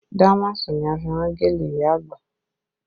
Damaasi ni a fi rán gèlè ìyá àgbà